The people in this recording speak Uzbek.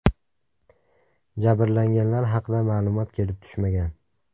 Jabrlanganlar haqida ma’lumot kelib tushmagan.